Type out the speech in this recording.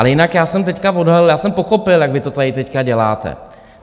Ale jinak já jsem teď odhalil, já jsem pochopil, jak vy to tady teď děláte.